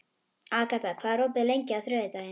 Agata, hvað er opið lengi á þriðjudaginn?